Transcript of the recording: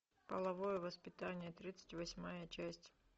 половое воспитание тридцать восьмая часть